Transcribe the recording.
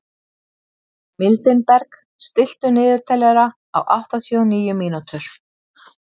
Mildinberg, stilltu niðurteljara á áttatíu og níu mínútur.